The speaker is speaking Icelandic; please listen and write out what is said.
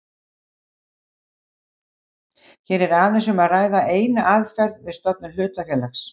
Hér er aðeins um að ræða eina aðferð við stofnun hlutafélags.